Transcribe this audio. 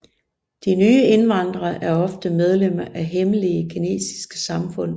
De nye indvandrere var ofte medlemmer af hemmelige kinesiske samfund